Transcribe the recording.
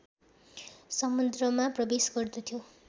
समुद्रमा प्रवेश गर्दथ्यो